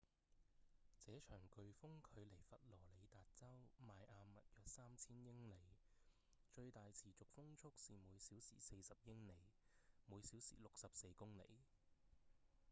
這場颶風距離佛羅里達州邁阿密約三千英里最大持續風速是每小時40英里每小時64公里